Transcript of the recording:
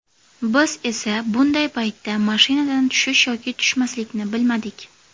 Biz esa bunday paytda mashinadan tushish yoki tushmaslikni bilmadik.